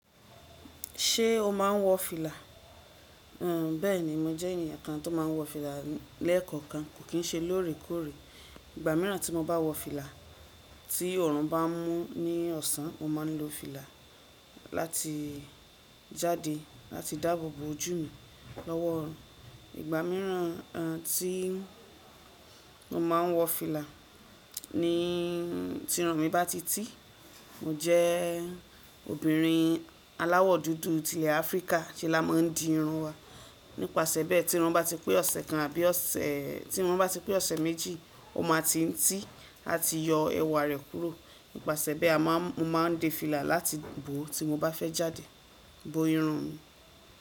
Ṣé o máa ń wọ fìlà? Bẹ́ẹ̀ni, mo jẹ́ ènìyàn kan tó máa ń wọ fìlà lẹ́ẹ̀kọ̀kan, kò kí ń ṣe lóòrèkóòrè. Ìgbà mìíràn tí mo bá wọ fìlà, tí òrún bá mú ní ọ̀sán, mo máa ń lo fìlà láti jáde láti dáàbò bo ojú mi lọ́wọ́. Ìgbà mìíràn tí mo máa ń wọ fìlà ni tí irun mi bá ti tí. Mo jẹ́ obìnrin aláwọ̀ dúdú ti ilẹ̀ Áfríkà se la máa ń di irun wa. Nípasẹ̀ bẹ́ẹ̀, tí irun bá ti pé ọ̀sẹ̀ kan àbí ọ̀sẹ̀ méjì, o máa ti ń tí àti yọ ẹ̀wà rẹ̀ kúrò. Nípasẹ̀ bẹ́ẹ̀, mo máa ń dé fìlà láti bò tí mo bá fẹ́ jáde, bo irun mi.